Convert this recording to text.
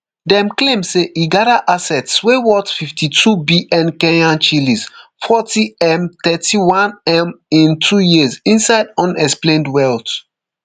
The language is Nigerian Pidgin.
dem claim say e gada assets wey worth fifty-twobn kenyan shillings fortym thirty-onem in two years inside unexplained wealth